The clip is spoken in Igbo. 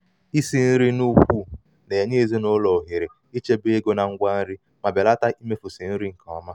isi nri n'ukwu na-enye ezinụlọ ohere ezinụlọ ohere ichebe ego na ngwa nri ma belata imefusi nri nke ọma.